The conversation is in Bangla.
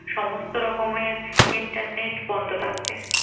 সমস্ত রকমের internet বন্ধ থাকবে।